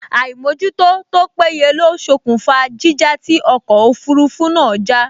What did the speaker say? Àìmójútó tó péye ló ṣokùnfà jíjà tí ọkọ̀ òfurufú náà já